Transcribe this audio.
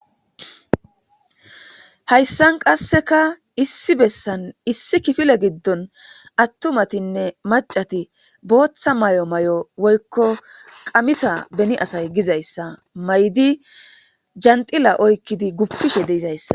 Hayssan qasseka issi bessan issi kifile giddon attumatinne macati booththa may7o may7o woykko qamisa beni asay gizayssa may7di janxila oykkidi guppishe de7izayssa.